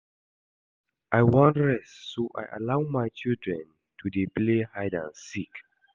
I wan rest so I allow my children to dey play hide and seek